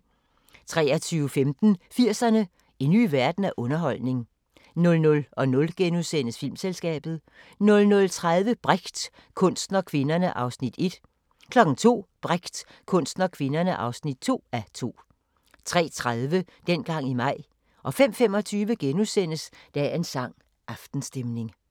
23:15: 80'erne: En ny verden af underholdning 00:00: Filmselskabet * 00:30: Brecht – kunsten og kvinderne (1:2) 02:00: Brecht – kunsten og kvinderne (2:2) 03:30: Dengang i maj 05:25: Dagens sang: Aftenstemning *